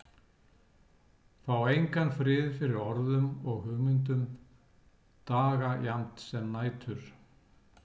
Fá engan frið fyrir orðum og hugmyndum, daga jafnt sem nætur.